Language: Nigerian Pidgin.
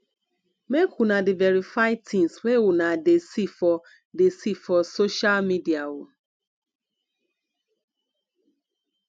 make una dey verify tins wey una dey see for dey see for social media o